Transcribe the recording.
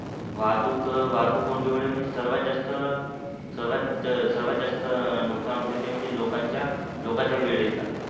वाहतूक वाहतूक कोंडी मुळे सर्वात जास्त सर्वात जास्त नुकसान होते ते म्हणजे लोकांच्या लोकांच्या वेळेचा